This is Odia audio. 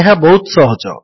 ଏହା ବହୁତ ସହଜ